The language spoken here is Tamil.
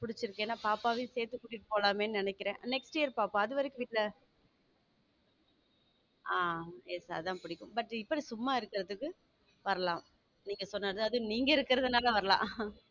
பிடிச்சிருக்கு ஏன்னா பாப்பாவையும் சேர்த்துட்டு போலாமேன்னு நினைக்கிறேன் next year பாப்பா அது வரைக்கும் வீட்ல ஆம் yes அதான் புடிக்கும் but இப்படி சும்மா இருக்குறதுக்கு வரலாம் நீங்க சொன்னது அதுவும் நீங்க இருக்கிறதுனால வரலாம்